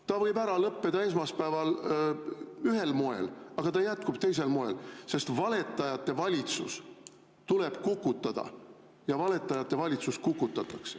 See võib ära lõppeda esmaspäeval ühel moel, aga ta jätkub teisel moel, sest valetajate valitsus tuleb kukutada ja valetajate valitsus kukutatakse.